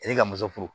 E ka muso furu